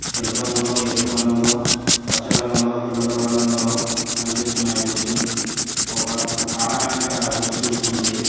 తెలుపు రంగులో ఎరుపు రంగులో పచ్చ రంగులో ఎల్లో కలర్ రంగులో కనిపిస్తున్నాయి బుక్సు ఒక ఆడమే ఇక్కడ బుక్స్ చూస్తుంది.